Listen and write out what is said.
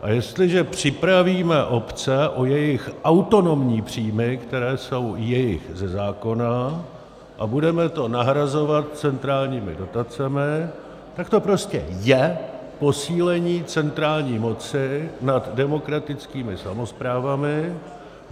A jestliže připravíme obce o jejich autonomní příjmy, které jsou jejich ze zákona, a budeme to nahrazovat centrálními dotacemi, tak to prostě je posílení centrální moci nad demokratickými samosprávami.